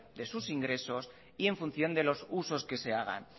de sus ingresos y en función de los usos que se hagan